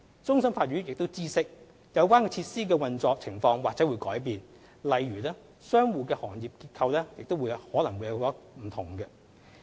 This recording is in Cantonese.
終審法院亦知悉，有關設施的運作情況或會改變，例如商戶的行業結構可能會有所不同。